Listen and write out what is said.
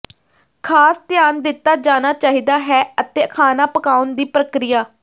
ਖਾਸ ਧਿਆਨ ਦਿੱਤਾ ਜਾਣਾ ਚਾਹੀਦਾ ਹੈ ਅਤੇ ਖਾਣਾ ਪਕਾਉਣ ਦੀ ਪ੍ਰਕਿਰਿਆ